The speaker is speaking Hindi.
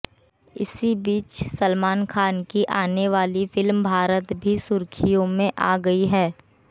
इसी बीच सलमान खान की आने वाली फिल्म भारत भी सुर्खियों में आ गई है